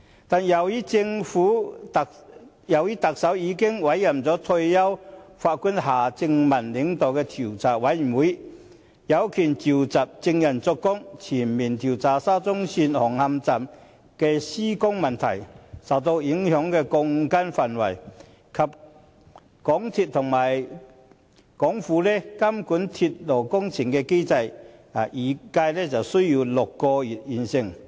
但是，特首已經委任退休法官夏正民領導調查委員會，調查委員會有權傳召證人作供，全面調查沙中線紅磡站的施工問題、受影響的鋼筋範圍，以及港鐵公司和港府監管鐵路工程的機制，預計需時6個月便能完成調查。